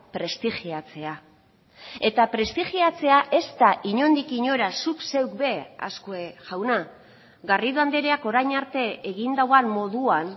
prestigiatzea eta prestigiatzea ez da inondik inora zuk zeuk be azkue jauna garrido andreak orain arte egin duen moduan